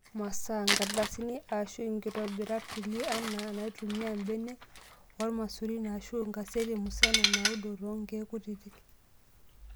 Masaa:nkardasini aashu nkitobiray kulie anaa naitumiya mbenek oolmaisurin aashu enkaseti musana naudo too nkeek kutitik.